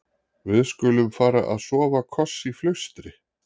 Við-skulum-fara-að-sofa-koss í flaustri.